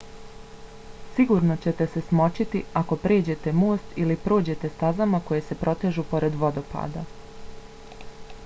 sigurno ćete se smočiti ako pređete most ili prođete stazama koje se protežu pored vodopada